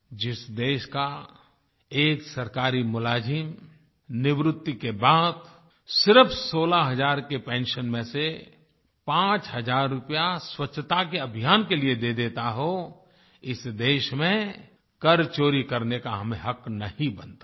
जिस देश का एक सरकारी मुलाज़िम निवृत्ति के बाद सिर्फ 16 हजार के पेंशन में से 5 हजार रुपया स्वच्छता के अभियान के लिए दे देता हो इस देश में कर चोरी करने का हमें हक़ नहीं बनता है